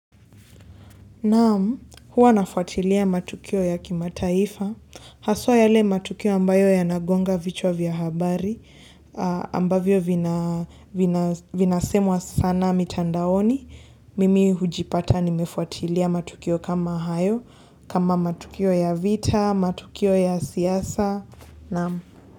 Naam, huwa nafuatilia matukio ya kimataifa, haswa yale matukio ambayo yanagonga vichwa vya habari, ambavyo vinasemwa sana mitandaoni, mimi hujipata nimefuatilia matukio kama hayo, kama matukio ya vita, matukio ya siasa, naam.